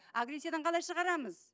агрессиядан қалай шығарамыз